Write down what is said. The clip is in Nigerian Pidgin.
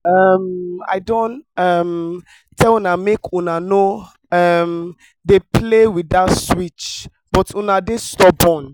um i don um tell una make una no um dey play with dat switch but una dey stubborn